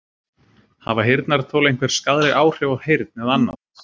Hafa heyrnartól einhver skaðleg áhrif á heyrn eða annað?